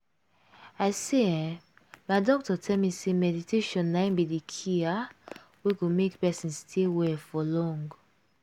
i say eeh my doctor tell me say meditation na in be de key ah! wey go make person stay well for long.